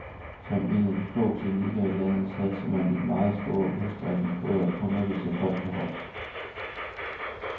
Som en af de få klinikker i landet satser man i meget stor udstrækning på at undervise folk på hold.